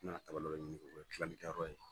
U nana ka O bɛ tilalen kɛ yɔrɔ in na.